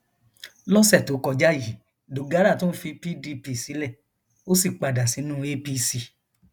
lọsẹ tó kọjá yìí dogara tún fi pdp sílẹ ó sì padà sínú apc